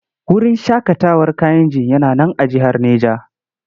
Wurin shaƙatawar Kayenji yana nan a jihar Neja.